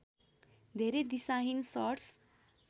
धेरै दिशाहीन सट्स